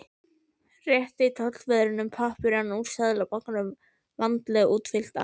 Rétti tollverðinum pappírana úr Seðlabankanum, vandlega útfyllta.